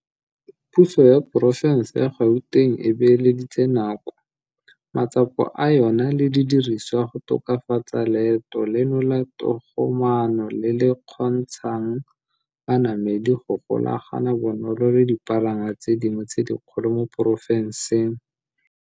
Puso ya Porofense ya Gauteng e beeleditse nako, matsapa a yona le didirisiwa go tokafatsa leeto leno la togomaano le le kgontsha ng banamedi go golagana bonolo le dipalangwa tse dingwe tse dikgolo mo porofenseng.